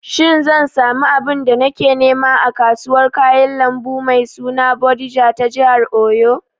Shin zan samu abin da nake nema a kasuwar kayan lambu mai suna Bodija ta jihar Oyo?